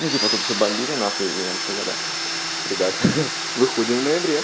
ну типа тут всё бомбили нахуй и нас сказали ребят ха-ха выходим в ноябре